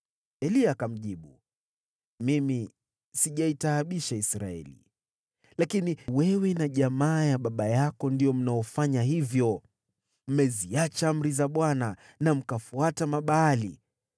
Eliya akamjibu, “Mimi sijaitaabisha Israeli. Lakini wewe na jamaa ya baba yako ndio mnaofanya hivyo. Mmeziacha amri za Bwana na mkafuata Mabaali.